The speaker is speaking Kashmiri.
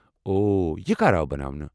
او، یہ کر آو بناونہٕ؟